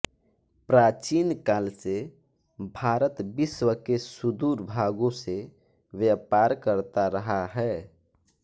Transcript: प्राचीन काल से भारत विश्व के सुदूर भागों से व्यापार करता रहा है